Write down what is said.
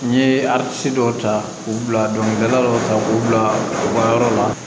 N ye dɔw ta k'u bila dɔnkilida dɔ ta k'u bila u ka yɔrɔ la